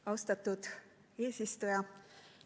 Austatud eesistuja!